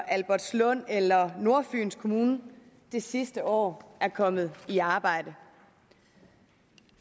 albertslund eller nordfyns kommune det sidste år er kommet i arbejde